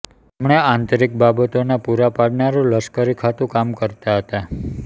તેમણે આંતરિક બાબતોના પૂરાં પાડનારું લશ્કરી ખાતું કામ કરતા હતા